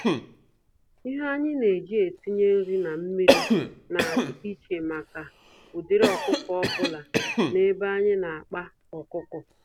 Ihe anyi neji etinye nri na mmiri, na adị íchè màkà ụdịrị ọkụkọ ọbula n'ebe anyị n'akpa ọkụkọ